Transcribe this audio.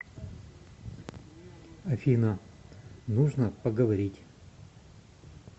афина нужно поговорить